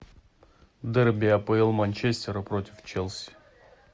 дерби апл манчестера против челси